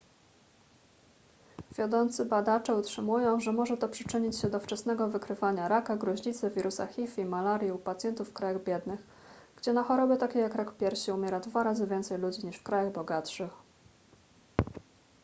wiodący badacze utrzymują że może to przyczynić się do wczesnego wykrywania raka gruźlicy wirusa hiv i malarii u pacjentów w krajach biednych gdzie na choroby takie jak rak piersi umiera dwa razy więcej ludzi niż w krajach bogatszych